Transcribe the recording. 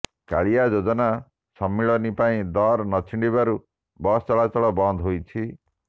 କାଳିଆ ଯୋଜନା ସମ୍ମିଳନୀ ପାଇଁ ଦର ନଛିଣ୍ଡିବାରୁ ବସ୍ ଚଳାଚଳ ବନ୍ଦ ହୋଇଛି